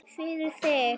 Fyrir þig.